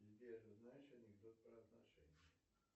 сбер знаешь анекдот про отношения